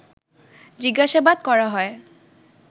জিজ্ঞাসাবাদ করা হয়